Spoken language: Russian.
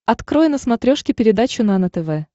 открой на смотрешке передачу нано тв